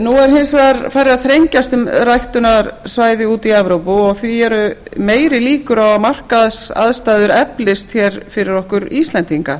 nú er hins vegar farið að þrengjast um ræktunarsvæði í evrópu og því eru meiri líkur á að markaðsaðstæður eflist fyrir okkur íslendinga